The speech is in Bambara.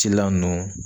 Cilan ninnu